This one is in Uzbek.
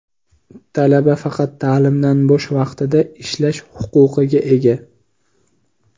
talaba faqat ta’limdan bo‘sh vaqtida ishlash huquqiga ega.